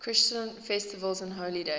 christian festivals and holy days